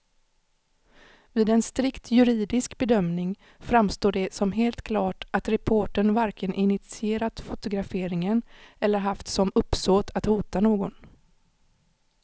Vid en strikt juridisk bedömning framstår det som helt klart att reportern varken initierat fotograferingen eller haft som uppsåt att hota någon.